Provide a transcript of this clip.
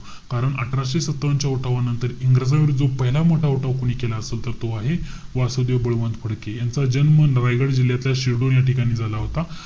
कारण अठराशे सत्तावन्न च्या उठावानंतर इंग्रजांविरुद्ध पहिला मोठा उठाव कोणी केला असेल तर तो आहे वासुदेव बळवंत फडके. यांचा जन्म नवाईगड जिल्ह्यातल्या शिरडुन या ठिकाणी झाला होता.